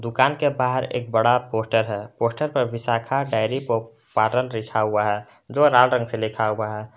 दुकान के बाहर एक बड़ा पोस्टर है पोस्टर पर विशाखा डेयरी पार्लर लिखा हुआ है जो लाल रंग से लिखा हुआ है।